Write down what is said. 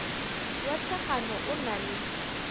wa thekgano o na le